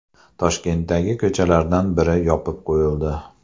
Toshkentdagi ko‘chalardan biri yopib qo‘yildi .